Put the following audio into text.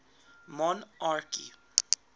monarchy